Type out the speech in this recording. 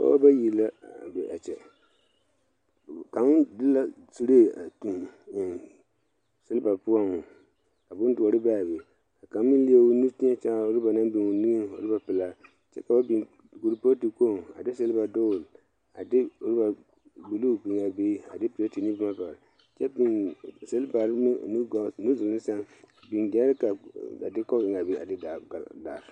Pɔɔbɔ bayi la be a kyɛ kaŋ di la suree a tuŋ eŋ silba poɔŋ ka bondoɔre be aa be ka kaŋ meŋ leɛ o nu teɛ kyaare a rɔba naŋ biŋ o niŋeŋ rɔba pelaa kyɛ ka ba biŋ krupootu kpoŋ a de silba dugle a de rɔba bluu biŋaa be a de pilate ne boma kyɛ biŋ silbarre meŋ o nugɔɔ nuduluŋ sɛŋ a biŋ gyɛrika a de kɔp eŋaa be a de daa gari.